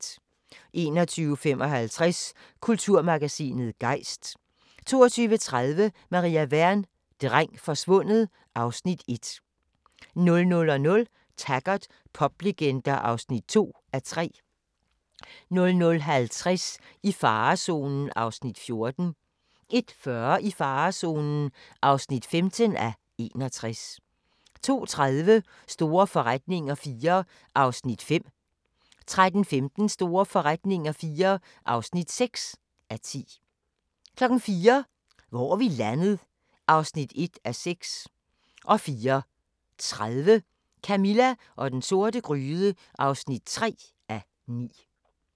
21:55: Kulturmagasinet Gejst 22:30: Maria Wern: Dreng forsvundet (Afs. 1) 00:00: Taggart: Poplegender (2:3) 00:50: I farezonen (14:61) 01:40: I farezonen (15:61) 02:30: Store forretninger IV (5:10) 03:15: Store forretninger IV (6:10) 04:00: Hvor er vi landet? (1:6) 04:30: Camilla og den sorte gryde (3:9)